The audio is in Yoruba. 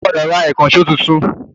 O gbọ́dọ̀ Ra ìkànṣó tuntun